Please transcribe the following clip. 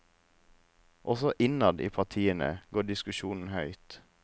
Også innad i partiene går diskusjonen høyt.